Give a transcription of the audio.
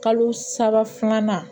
Kalo saba filanan